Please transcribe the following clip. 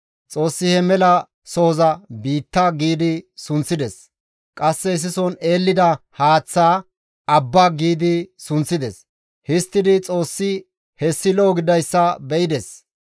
Xoossi he mela sohoza, «Biitta» gi sunththides; qasse issison eellida haaththaa, «Abba» gi sunththides; histtidi Xoossi hessi lo7o gididayssa be7ides.